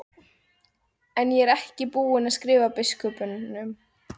En ég er ekki búinn að skrifa biskupnum.